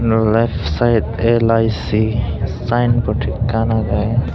ro lef site L_I_C sayenbod ekkan agey.